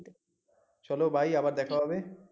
চলো bye আবার দেখা হবে